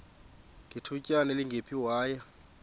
ngethutyana elingephi waya